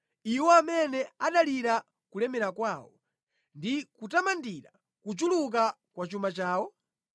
Iwo amene adalira kulemera kwawo ndi kutamandira kuchuluka kwa chuma chawo?